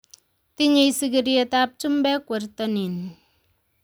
Tinyei sigiryetab chumbek wertonin